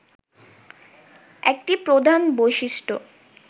একটি প্রধান বৈশিষ্ট্য